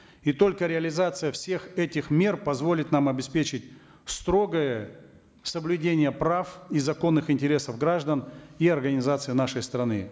и только реализация всех этих мер позволит нам обеспечить строгое соблюдение прав и законных интересов граждан и организаций нашей страны